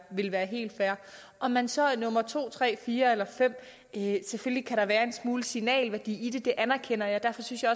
ville være helt fair om man så er nummer to tre fire eller fem kan der være en smule signalværdi i det anerkender jeg derfor synes jeg